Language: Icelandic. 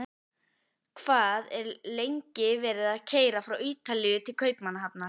Hvað er lengi verið að keyra frá Ítalíu til Kaupmannahafnar?